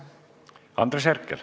Andres Herkel.